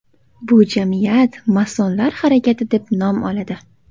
Bu jamiyat masonlar harakati deb nom oladi.